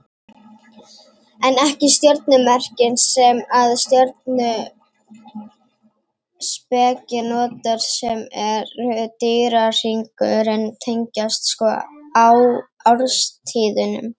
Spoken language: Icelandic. En ekki stjörnumerkin sem að stjörnuspeki notar sem eru dýrahringurinn tengist sko árstíðunum.